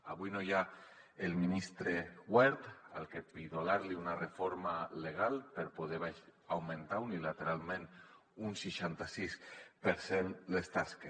avui no hi ha el ministre wert al que pidolar li una reforma legal per poder augmentar unilateralment un seixanta sis per cent les taxes